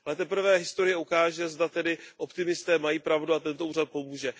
Ale teprve historie ukáže, zda tedy optimisté mají pravdu a tento úřad pomůže.